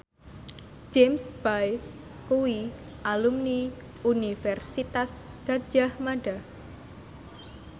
James Bay kuwi alumni Universitas Gadjah Mada